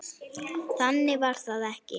Þannig var það ekki.